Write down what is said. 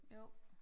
Jo